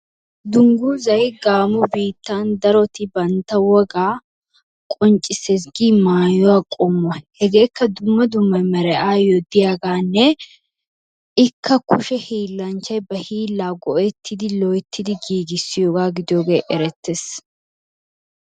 Dunguzay gamo bittan darotti banttaa wogaa qonccisses giyo mayuwaa qomuwaa, hegekka dumma dumma meray ayo deiyagaanne ikkaa kushee hilanchay baa hila go'ettidi loyttidi gigisyobaa gidiyoge erettes.